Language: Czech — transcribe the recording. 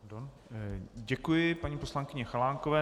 Děkuji paní poslankyni Chalánkové.